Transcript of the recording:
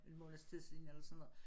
En måneds tid siden eller sådan noget